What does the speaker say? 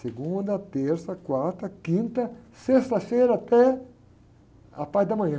Segunda, terça, quarta, quinta, sexta-feira até a parte da manhã.